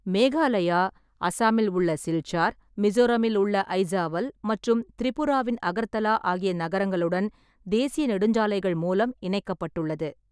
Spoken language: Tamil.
மேகாலயா, அசாமில் உள்ள சில்சார், மிசோரமில் உள்ள அய்சாவல் மற்றும் திரிபுராவின் அகர்தலா ஆகிய நகரங்களுடன் தேசிய நெடுஞ்சாலைகள் மூலம் இணைக்கப்பட்டுள்ளது.